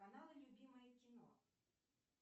канал любимое кино